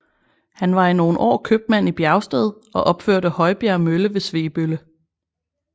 Han var i nogle år købmand i Bjergsted og opførte Højbjerg mølle ved Svebølle